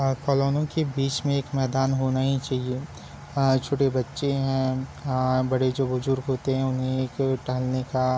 और कॉलोनियों { के बिच में एक मैदान होना ही चाहिए अ छोटे बच्चे है अ बड़े जो बुजुर्ग होते है उन्हें एक टहलने का --}